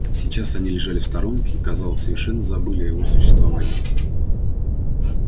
сейчас они лежали в сторонке и казалось совершенно забыли о его существовании